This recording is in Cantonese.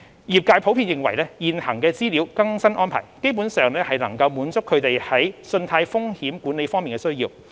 業界普遍認為現行的資料更新安排基本上能滿足他們在信貸風險管理方面的需要。